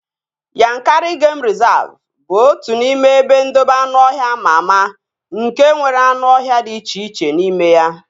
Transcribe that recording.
Yankari geim rịzavu bụ otu n'ime ebe ndobe anụọhịa ama ama nke nwere anụ ọhịa dị iche iche n'ime ya